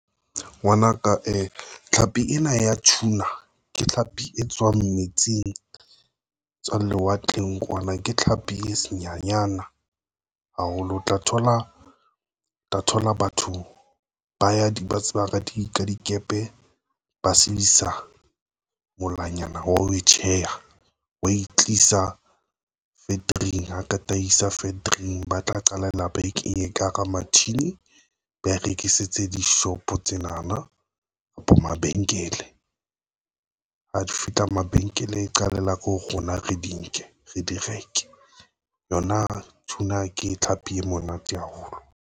Ngwanaka e tlhapi ena ya Tuna ke tlhapi e tswang metsing etswang lewatleng kwana ke tlhapi e se nyanyana haholo. O tla thola, o tla thola batho ba ya tsebang ka di ka dikepe ba molaonyana wa ho tjheha wa e tlisa factory ho tataisa factory ba tla qala ena ba e kenye ka hara matjhini, ba rekisetse dishopo. Tsena na kapa mabenkele ha di fihla mabenkele e qala ka ho rona, re di nke re di reke yona Tuna ke tlhapi e monate haholo.